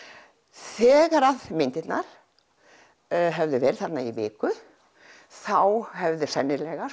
þegar myndirnar höfðu verið þarna í viku þá hafði sennilega